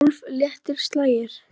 Tólf léttir slagir.